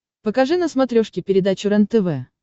покажи на смотрешке передачу рентв